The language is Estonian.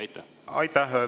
Aitäh!